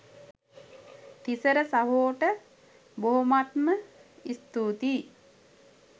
තිසර සහෝට බොහොමත්ම ස්තුතියි